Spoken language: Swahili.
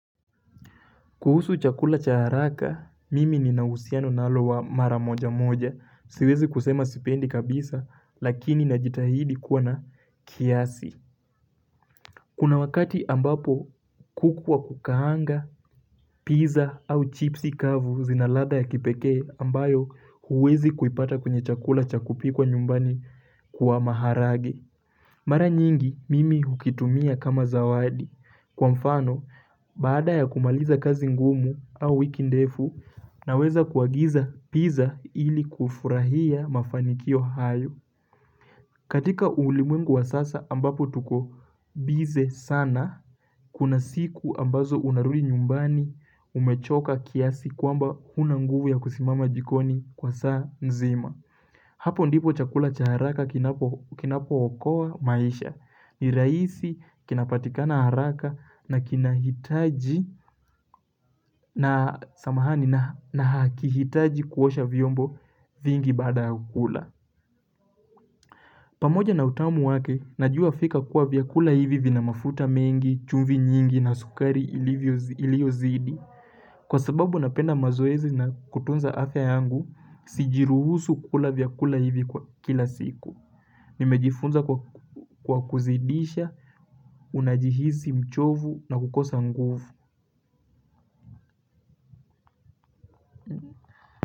Kuhusu chakula cha haraka, mimi ninauhusiano nalo wa mara moja moja. Siwezi kusema sipendi kabisa, lakini najitahidi kuwa na kiasi. Kuna wakati ambapo kuku wa kukaanga, pizza au chipsi kavu zinaladha ya kipekee ambayo huwezi kuipata kwenye chakula cha kupikwa nyumbani kwa maharage. Mara nyingi, mimi hukitumia kama zawadi. Kwa mfano, baada ya kumaliza kazi ngumu au wiki ndefu, naweza kuagiza pizza ili kufurahia mafanikio hayo. Katika ulimwengu wa sasa ambapo tuko bize sana, kuna siku ambazo unarudi nyumbani umechoka kiasi kwamba huna nguvu ya kusimama jikoni kwa saa nzima. Hapo ndipo chakula cha haraka kinapo okoa maisha ni rahisi kinapatikana haraka na kinahitaji na samahani na hakihitaji kuosha vyombo vingi baada kula pamoja na utamu wake najua fika kuwa vyakula hivi vina mafuta mengi chumvi nyingi na sukari iliozidi kwa sababu napenda mazoezi na kutunza afya yangu sijiruhusu kula vyakula hivi kwa kila siku Nimejifunza kwa kuzidisha, unajihizi mchovu na kukosa nguvu.